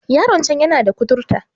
Yaron can yana da kuturta